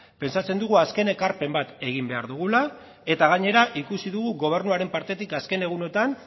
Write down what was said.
pentsatzen dugu azken ekarpen bat egin behar dugula eta gainera ikusi dugu gobernuaren partetik azken egunotan